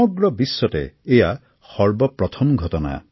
সমগ্ৰ বিশ্বতে এয়া সৰ্বপ্ৰথম ঘটনা